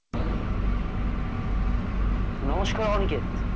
নমস্কার অনিকেত ।